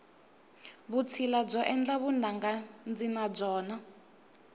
vutshila byo endla vunanga ndzi na byona